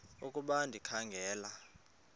ukuba ndikha ngela